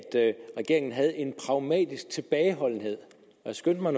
regeringen har en pragmatisk tilbageholdenhed jeg skyndte mig